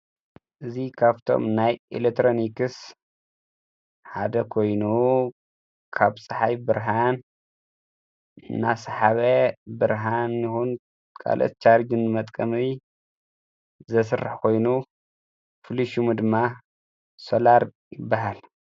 እዚ ካብቶም ናይ ኤሌክትሮኒክስ ሓደ ኮይኑ ካብ ፀሓይ ብርሃን እናሰሓበ ብርሃን ይኹን ከልኦት ቻርጅ ንመጥቀሚ ዘስርሕ ኾይኑ ፍሉይ ሹሙ ድማ ሶላር ይበሃል።